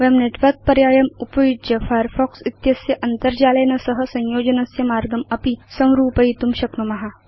वयं नेटवर्क पर्यायम् उपयुज्य फायरफॉक्स इत्यस्य अन्तर्जालेन सह संयोजनस्य मार्गं अपि संरूपयितुं शक्नुम